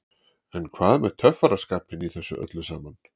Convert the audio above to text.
En hvað með töffaraskapinn í þessu öllu saman?